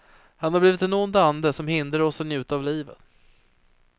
Han har blivit en ond ande som hindrar oss att njuta av livet.